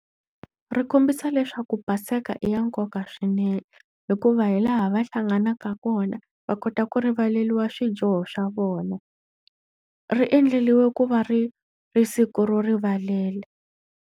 Ri kombisa leswaku Paseke i ya nkoka swinene hikuva hi laha va hlanganaka kona, va kota ku rivaleriwa swijoho swa vona. Ri endleriwe ku va ri ri siku ro rivalela.